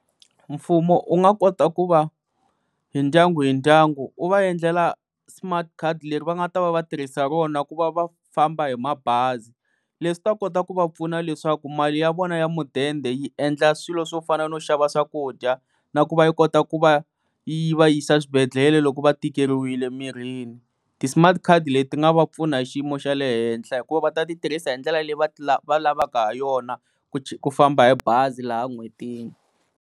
Mfumo wu nga kota ku va hi ndyangu hi ndyangu wu va endlela smart card leri va nga ta va va tirhisa rona ku va va famba hi mabazi leswi swi ta kota ku va pfuna leswaku mali ya vona ya mudende yi endla swilo swo fana no xava swakudya na ku va yi kota ku va yi va yisa eswibedhlele loko va tikeriwile mirini, ti-smart card leti ti nga va pfuna hi xiyimo xa le henhla hikuva va ta ti tirhisa hi ndlela leyi va va lavaka ha yona ku ku famba hi bazi laha en'hwetini.